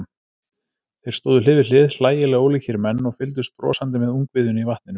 Þeir stóðu hlið við hlið, hlægilega ólíkir menn, og fylgdust brosandi með ungviðinu í vatninu.